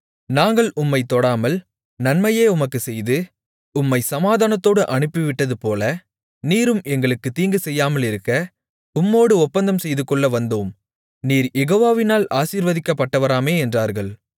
நாங்கள் உம்மைத் தொடாமல் நன்மையையே உமக்குச் செய்து உம்மைச் சமாதானத்தோடு அனுப்பிவிட்டதுபோல நீரும் எங்களுக்குத் தீங்குசெய்யாமலிருக்க உம்மோடு ஒப்பந்தம் செய்துகொள்ள வந்தோம் நீர் யெகோவாவினால் ஆசீர்வதிக்கப்பட்டவராமே என்றார்கள்